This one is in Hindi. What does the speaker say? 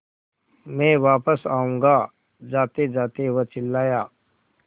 मैं वापस आऊँगा जातेजाते वह चिल्लाया